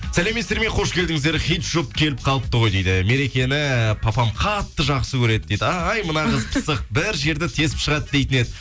сәлеметсіздер ме қош келдіңіздер хит жұп келіп қалыпты ғой дейді мерекені папам қатты жақсы көреді дейді ай мына қыз пысық бір жерді тесіп шығады дейтін еді